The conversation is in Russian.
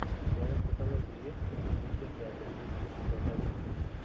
в твоем каталоге есть фильм легенды о круге эпизод один